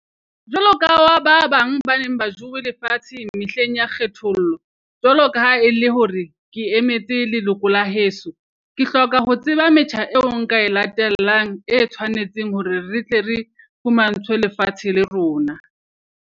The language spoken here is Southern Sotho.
Jwalo ka ba ba bang ba neng ba jowe lefatshe mehleng ya kgethollo. Jwalo ka ha e le hore ke emetse leloko la heso, ke hloka ho tseba metjha eo nka e latellang e tshwanetseng hore re tle re fumantshwe lefatshe la rona.